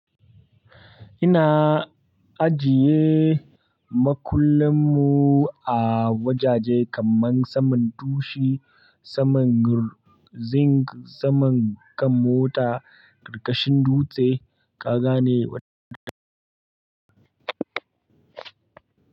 Ina ajiye makullanmu a wajaje kaman saman dushi, saman zinc, saman kan mota, ƙarƙashin dutse, ka gane,